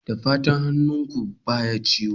Da fatan hannunka baya ciwo?